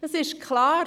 Es ist klar: